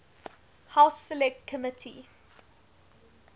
house select committee